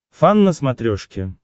фан на смотрешке